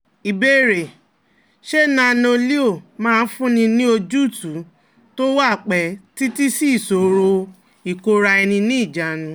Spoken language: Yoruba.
Ìbéèrè: Ṣé Nano-Leo máa fúnni ní ojútùú tó wà pẹ́ títí sí ìṣòro ìkóra-ẹni-níjàánu?